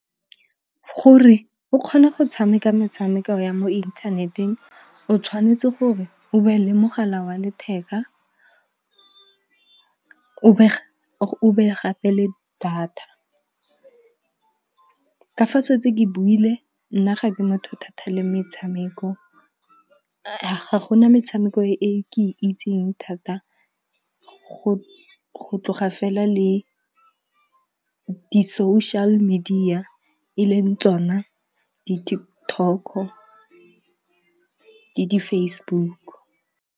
Gore o kgone go tshameka metshameko ya mo inthaneteng. O tshwanetse gore o be le mogala wa letheka, o be gape le data. Ka fa setse ke buile nna ga ke motho thata le metshameko. Ga gona metshameko e ke itseng thata go tloga fela le di-social-media e leng tsona di-TikTok-o le di-Facebook-o.